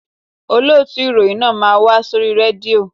Olóòtù ìròyìn náà máa wá sórí rédíò